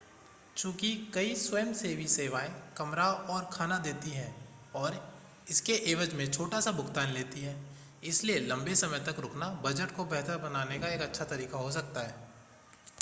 चूंकि कई स्वयंसेवी सेवाएं कमरा और खाना देती हैं और इसके एवज में छोटा सा भुगतान लेती हैं इसलिए लंबे समय तक रुकना बजट को बेहतर बनाने का एक अच्छा तरीका हो सकता है